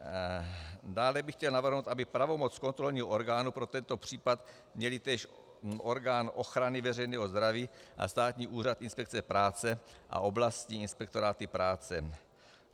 Dále bych chtěl navrhnout, aby pravomoc kontrolního orgánu pro tento případ měly též orgány ochrany veřejného zdraví a Státní úřad inspekce práce a oblastní inspektoráty práce.